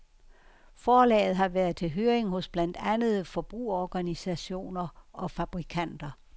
Forslaget har været til høring hos blandt andet forbrugerorganisationer og fabrikanter.